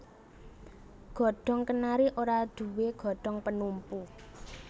Godhong kenari ora duwé godhong penumpu